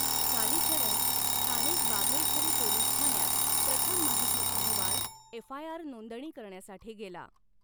कालिचरण स्थानिक बाघैछरी पोलीस ठाण्यात प्रथम माहिती अहवाल एफआयआर नोंदणी करण्यासाठी गेला.